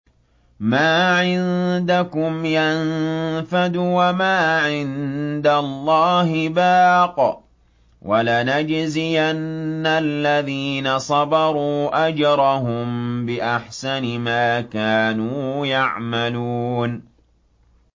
مَا عِندَكُمْ يَنفَدُ ۖ وَمَا عِندَ اللَّهِ بَاقٍ ۗ وَلَنَجْزِيَنَّ الَّذِينَ صَبَرُوا أَجْرَهُم بِأَحْسَنِ مَا كَانُوا يَعْمَلُونَ